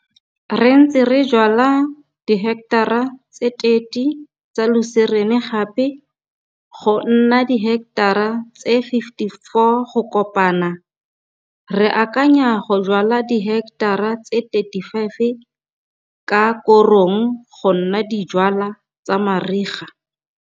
Re ntse re jwala diheketara tse 30 tsa luserene gape, go nna diheketara tse 54 go kopana. Re akanya go jwala diheketara tse 35 ka korong go nna dijwalwa tsa mariga.